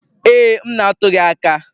Ee, m na-atụ gị aka.